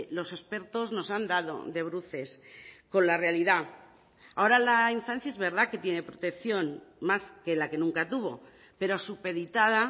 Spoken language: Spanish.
los expertos nos han dado de bruces con la realidad ahora la infancia es verdad que tiene protección más que la que nunca tuvo pero supeditada